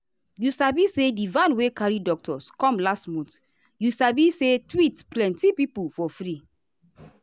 you sabi say di van wey carry doctors come last month you sabi say treat plenty people for free.